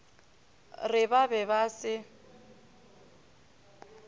re ba be ba se